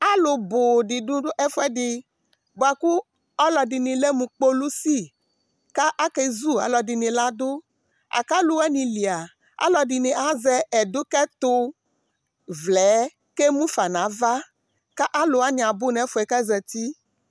alò bò di do ɛfu ɛdi boa kò alò ɛdini lɛ mo kpolusi k'ake zu alò ɛdini la du la k'alò wani li alò ɛdini azɛ ɛdokɛto vlɛ yɛ k'emu fa n'ava k'alò wani abò n'ɛfu yɛ k'azati